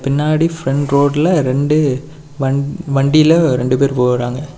பின்னாடி ஃபிரண்ட் ரோடுல ரெண்டு வன் வண்டில ரெண்டு பேர் போறாங்க.